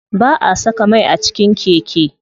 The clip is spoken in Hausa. Ba'a saka mai a cikin keke.